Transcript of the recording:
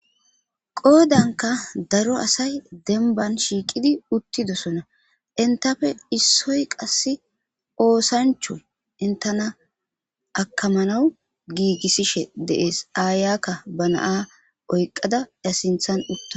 qoodanka daro asay demban shiiqidi uttidosona intafe issoy qass oosancho intana akamanawu giigissishe dees aayakka ba naa oyqqada ya sinthan utta